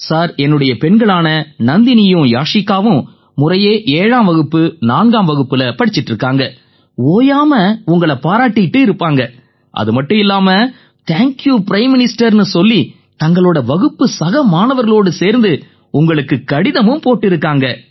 sir என் பெண்களான நந்தினியும் யாசிகாவும் முறையே 7ஆம் வகுப்பு 4ஆம் வகுப்புல படிச்சிக்கிட்டு இருக்காங்க ஓயாம உங்களை பாராட்டிக்கிட்டு இருப்பாங்க அதுமட்டுமில்லாம தேங்க்யூ பிரைம் மினிஸ்டர்னு சொல்லி தங்களோட வகுப்பு சக மாணவர்களோடு சேர்ந்து உங்களுக்குக் கடிதமும் போட்டிருக்காங்க